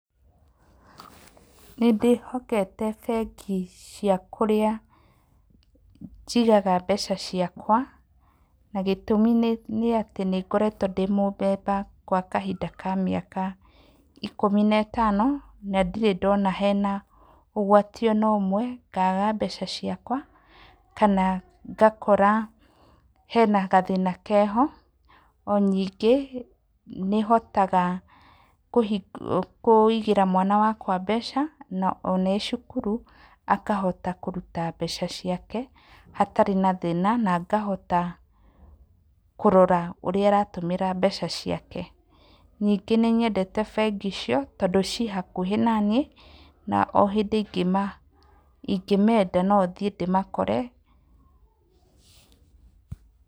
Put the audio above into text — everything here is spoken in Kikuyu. Nĩndĩhokete bengi cia kũrĩa njigaga mbeca ciakwa, na gĩtũmi nĩ atĩ, nĩngoretwo ndĩmũ member gwa kahinda ka mĩaka ikũmi na ĩtano. Na ndirĩ ndona hena ũgwati ona ũmwe, ngaga mbeca ciakwa, kana ngakora hena gathĩna keho. Oningĩ nĩhotaga kũigĩra mwana wakwa mbeca, na ona ecukuru, akahota kũruta mbeca ciake hatarĩ thĩna, na ngahota kũrora ũrĩa ĩratũmĩra mbeca ciake. Nĩngĩ nĩnyendete bengi icio tondũ ciĩ hakuhĩ naniĩ, na o hindĩ ingĩmenda nothiĩ ndĩmakore. Pause